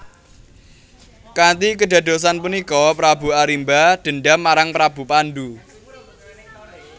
Kanthi kedadosan punika Prabu Arimba dendam marang Prabu Pandu